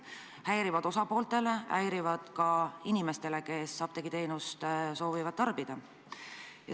Need on häirivad osapooltele, häirivad ka inimestele, kes soovivad apteegiteenust tarbida.